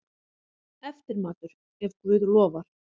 Eftirmatur, ef guð lofar.